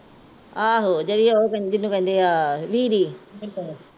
ਆਹੋ ਜਿਹੜੀ ਉਹ ਕਹਿੰਦੀ ਨੂੰ ਕਹਿੰਦੇ ਆ